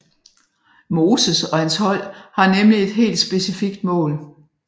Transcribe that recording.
Moses og hans hold har nemlig et helt specifikt mål